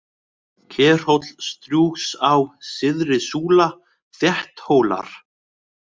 Kerhóll, Strjúgsá, Syðri-Súla, Þétthólar